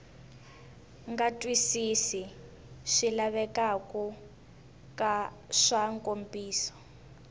nga twisisi swilaveko swa nkomiso